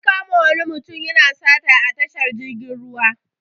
An kama wani mutum yana sata a tahar jirgin ruwa.